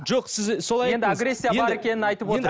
жоқ сіз солай айттыңыз